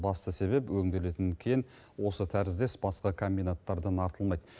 басты себеп өңделетін кен осы тәріздес басқа комбинаттардан артылмайды